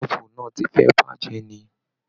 Bọ́ọ̀bù náà ti fẹ́ bàjẹ́ ni.